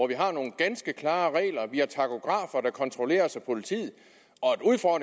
vi har nogle ganske klare regler og vi har takografer der kontrolleres af politiet